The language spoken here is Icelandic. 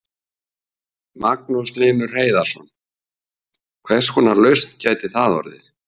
Magnús Hlynur Hreiðarsson: Hvers konar lausn gæti það orðið?